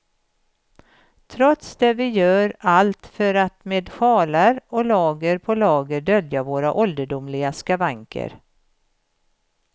Trots det gör vi allt för att med sjalar och lager på lager dölja våra ålderdomliga skavanker.